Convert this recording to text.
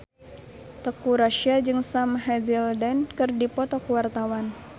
Teuku Rassya jeung Sam Hazeldine keur dipoto ku wartawan